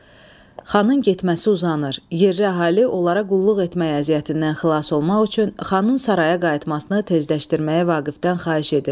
Xanın getməsi uzanır, yerli əhali onlara qulluq etmək əziyyətindən xilas olmaq üçün xanın saraya qayıtmasını tezləşdirməyi Vaqifdən xahiş edir.